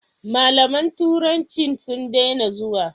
Mallaman turancin sun daina zuwa?